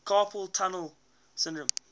carpal tunnel syndrome